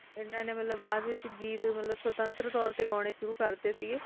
ਹੈ ਨੇ ਬਾਦ ਵਿਚ ਗੀਤ ਸਵਤੰਤਰ ਤੇ ਗਾਣੇ ਸ਼ੁਰੂ ਕਰ ਤੇ ਸੀ